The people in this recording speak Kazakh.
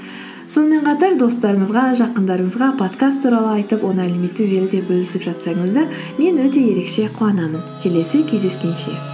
сонымен қатар достарыңызға жақындарыңызға подкаст туралы айтып оны әлеуметтік желіде бөлісіп жатсаңыздар мен өте ерекше қуанамын келесі кездескенше